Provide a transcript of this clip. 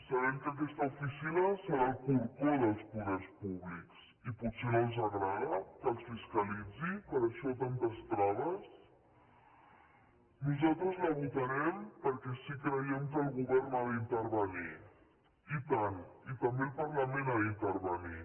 sabem que aquesta oficina serà el corcó dels poders públics i potser no els agrada que els fiscalitzi per això tantes traves nosaltres la votarem perquè sí que creiem que el govern ha d’intervenir i tant i també el parlament ha d’intervenir